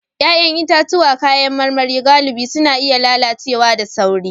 Ya'yan itatuwa da kayan marmari galibi suna iya lalacewa da sauri